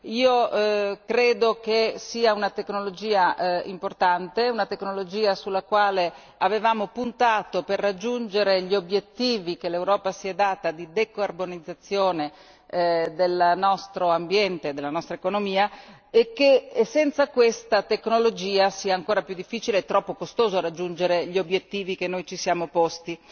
Io credo che sia una tecnologia importante, sulla quale avevamo puntato per raggiungere gli obiettivi che l'Europa si è data di decarbonizzazione del nostro ambiente e della nostra economia, e ritengo che senza questa tecnologia sia ancora più difficile e troppo costoso raggiungere gli obiettivi che noi ci siamo posti.